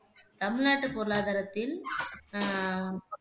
தமிழ்நாட்டு பொருளாதாரத்தில் அஹ்